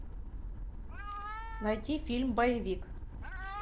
найти фильм боевик